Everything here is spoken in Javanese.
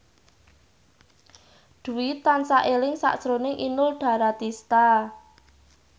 Dwi tansah eling sakjroning Inul Daratista